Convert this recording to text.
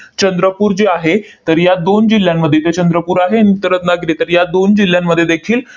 चंद्रपूर जे आहे, तर या दोन जिल्ह्यांमध्ये ते चंद्रपूर आहे नंतर रत्नागिरी, तर या दोन जिल्ह्यांमध्ये देखील